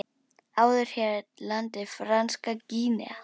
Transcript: Áður hét landið Franska Gínea.